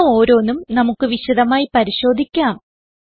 ഇവ ഓരോന്നും നമുക്ക് വിശദമായി പരിശോധിക്കാം